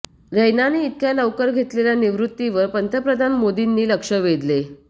रैनाने इतक्या लवकर घेतलेल्या निवृत्तीवर पंतप्रधान मोदींनी लक्ष वेधले